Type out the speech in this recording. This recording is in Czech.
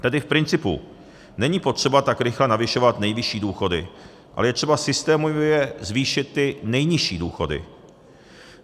Tedy v principu, není potřeba tak rychle navyšovat nejvyšší důchody, ale je třeba systémově zvýšit ty nejnižší důchody.